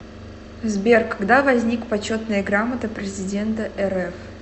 сбер когда возник почетная грамота президента рф